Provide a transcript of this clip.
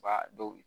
Ba dɔw